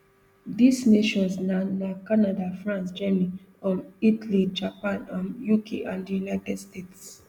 dis nations na na canada france germany um italy japan um uk and di united states